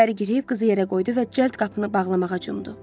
İçəri girib qızı yerə qoydu və cəld qapını bağlamağa cumdu.